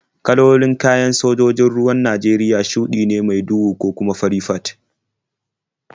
Kalolin kayan sojojin ruwan Najeriya shuɗi ne mai duhu ko kuma fari fat.